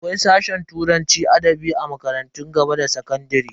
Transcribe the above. Akwai sashe turanci da adabi a makarantun gaba da sakandare.